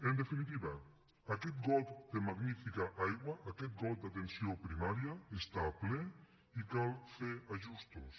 en definitiva aquest got de magnífica aigua aquest got d’atenció primària està ple i cal fer ajustos